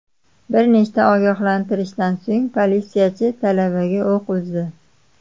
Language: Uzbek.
Bir necha ogohlantirishdan so‘ng politsiyachi talabaga o‘q uzdi.